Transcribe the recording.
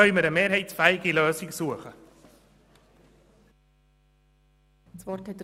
So können wir dann eine mehrheitsfähige Lösung finden.